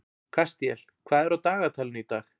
Kastíel, hvað er á dagatalinu í dag?